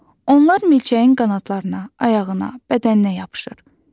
Onlar milçəyin qanadlarına, ayağına, bədəninə yapışır.